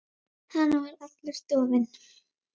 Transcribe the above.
Hann var allur dofinn.